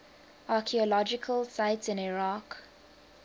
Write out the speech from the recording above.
archaeological sites in iraq